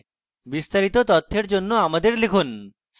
বিস্তারিত তথ্যের জন্য আমাদের লিখুন